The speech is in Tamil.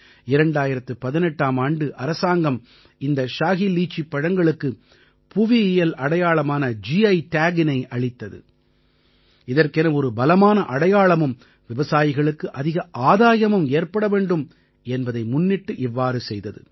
2018ஆம் ஆண்டு அரசாங்கம் இந்த ஷாஹி லீச்சிப் பழங்களுக்கு புவியியல் அடையாளமான கி Tagஇனை அளித்தது இதற்கென ஒரு பலமான அடையாளமும் விவசாயிகளுக்கு அதிக ஆதாயமும் ஏற்பட வேண்டும் என்பதை முன்னிட்டு இவ்வாறு செய்தது